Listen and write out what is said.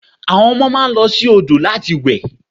Àwọn ọmọ máa lọ sí odò ìlúwẹ̀ẹ́ láti